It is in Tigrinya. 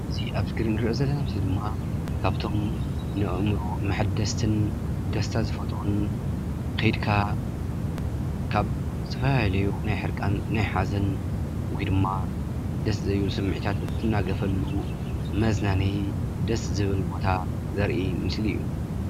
እዚ ኣብ እስክሪን ንሪኦ ዘለና ምስሊ ድማ ካብቶም ንኣእምሮ መሓደስትን ደስታ ዝፈጥሩን ከይድካ ካብ ዝተፈላለዩ ናይ ሕርቃን፣ ናይ ሓዘን ወይ ድማ ደስ ዘይብሉ ስምዒታት እትናገፈሉ መዝናነዪ፣ ደስ ዝብል ቦታ ዘርኢ ምስሊ እዩ፡፡